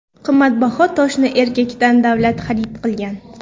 Qimmatbaho toshni erkakdan davlat xarid qilgan.